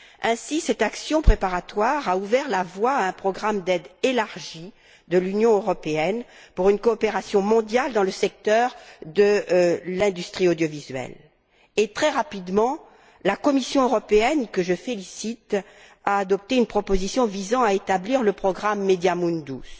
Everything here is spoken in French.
Ainsi, cette action préparatoire a ouvert la voie à un programme d'aide élargie de l'Union européenne pour une coopération mondiale dans le secteur de l'industrie audiovisuelle. Et très rapidement, la Commission européenne que je félicite a adopté une proposition visant à établir le programme MEDIA Mundus.